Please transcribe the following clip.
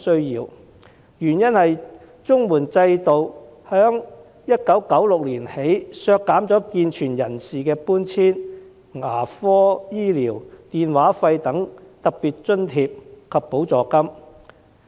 原因是自1996年起，綜援制度下健全人士的搬遷、牙科治療、電話費等特別津貼及補助金已被削減。